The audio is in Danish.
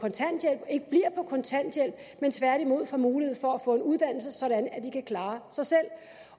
kontanthjælp men tværtimod får mulighed for at få en uddannelse sådan at de kan klare sig selv